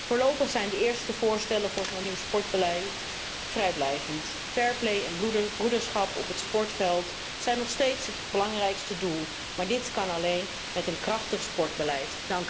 Voorlopig zijn de eerste voorstellen voor een nieuw sportbeleid te vrijblijvend. Fair play en broederschap op het sportveld zijn nog steeds het belangrijkste doel, maar dit kan alleen met een krachtig sportbeleid.